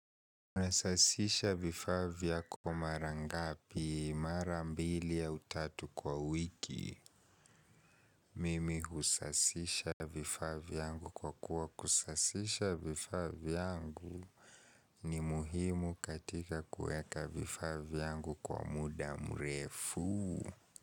Unasasisha vifaa vyako mara ngapi, mara mbili au tatu kwa wiki? Mimi husasisha vifaa vyangu kwa kuwa kusasisha vifaa vyangu ni muhimu katika kuweka vifaa vyangu kwa muda mrefu.